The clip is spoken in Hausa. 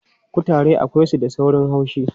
Kutare akwai su da saurin haushi.